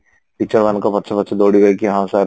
teacher ମାନଙ୍କ ପଛେ ପଛେ ଦଉଡିବେ କି ହଁ sir